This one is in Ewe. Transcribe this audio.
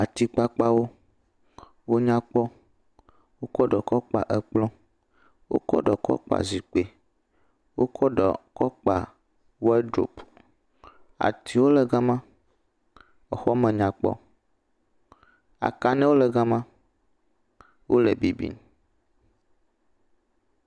Atikpakpawo, wonya kpɔ, wokɔ ɖe kɔ kpa ekplɔ, wokɔ ɖe kɔ kpa zikpui, wokɔ ɖe kɔ kpa wɔdrop, atiwo le gama, exɔ me nyakpɔ, akanewo le gama, wole bibim.